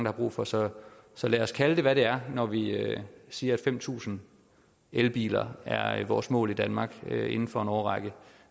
har brug for så så lad os kalde det hvad det er når vi siger at fem tusind elbiler er er vores mål i danmark inden for en årrække